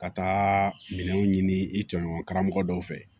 Ka taa minɛnw ɲini i cɛɲɔgɔn karamɔgɔ dɔw fɛ